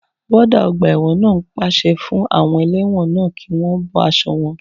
Wọ́ọ́dà ọgbà ẹ̀wọ̀n náà pàṣẹ fún àwọn ẹlẹ́wọ̀n náà kí wọ́n bọ́ aṣọ wọn